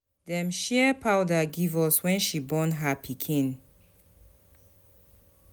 Dem share powder give us wen she born her pikin.